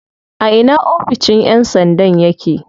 A ina oficin yan sandan yake?